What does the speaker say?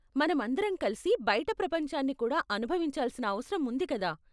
మనమందరం కలిసి బయిట ప్రపంచాన్ని కూడా అనుభవించాల్సిన అవసరం ఉంది కదా?